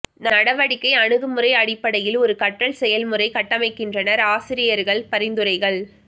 நடவடிக்கை அணுகுமுறை அடிப்படையில் ஒரு கற்றல் செயல்முறை கட்டமைக்கின்றனர் ஆசிரியர்கள் பரிந்துரைகள்